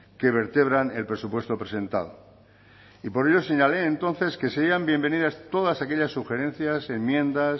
que vertebran el presupuesto presentado y por ello señalé entonces que serían bienvenidas todas aquellas sugerencias enmiendas